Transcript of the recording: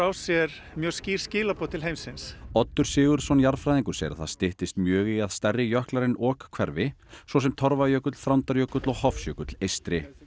sér mjög skýr skilaboð til heimsins Oddur Sigurðsson jarðfræðingur segir að það styttist mjög í að stærri jöklar en ok hverfi svo sem Torfajökull Þrándarjökull og Hofsjökull eystri